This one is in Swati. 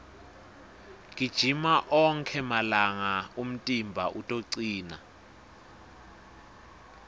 gijima onkhe malanga umtimba utocina